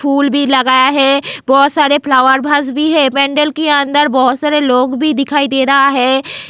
फूल भी लगाया है बहुत सारे फ्लावर भाज भी है पेंडल के अंदर बहुत सारे लोग भी दिखाई दे रहा है.